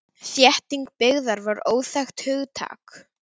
Þétting byggðar var óþekkt hugtak.